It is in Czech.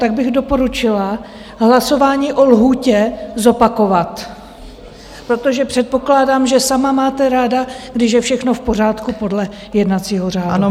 Tak bych doporučila hlasování o lhůtě zopakovat, protože předpokládám, že sama máte ráda, když je všechno v pořádku podle jednacího řádu.